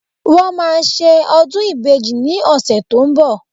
Wọ́n máa ṣe ọdún ìbejì ní ọ̀sẹ̀ tó ń bọ̀